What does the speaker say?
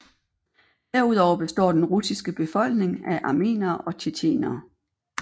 Derudover består den russiske befolkning af armenere og tjetjenere